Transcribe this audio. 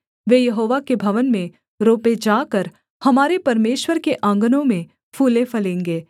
वे यहोवा के भवन में रोपे जाकर हमारे परमेश्वर के आँगनों में फूले फलेंगे